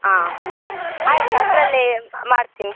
ಆ ಆಯ್ತು ಅದ್ರಲ್ಲೇ ಮಾಡ್ತೀನಿ.